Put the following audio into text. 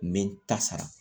N bɛ n ta sara